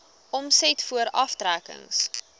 omset voor aftrekkings